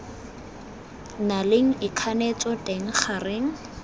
na leng ikganetso teng gareng